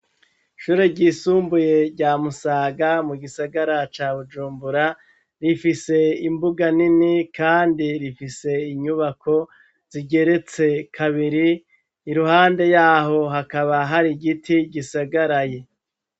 Shure ryisumbuye ryamusaga mu gisagara ca bujumbura rifise imbuga nimi, kandi rifise inyubako zigeretse kabiri i ruhande yaho hakaba hari igiti gisagaraye.